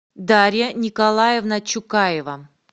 дарья николаевна чукаева